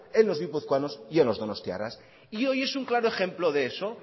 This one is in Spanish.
en los guipuzcoanos y en los donostiarras y hoy es un claro ejemplo de eso